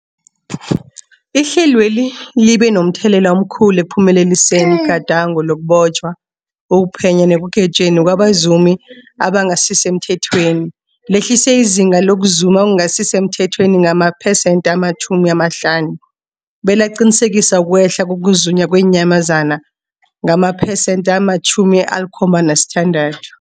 Ihlelweli libe momthelela omkhulu ekuphumeleliseni igadango lokubotjhwa, ukuphenywa nekugwetjweni kwabazumi abangasisemthethweni, lehlisa izinga lokuzuma okungasi semthethweni ngamaphesenthe-50, belaqinisekisa ukwehla kokuzunywa kweenyamazana ngamaphesenthe-76.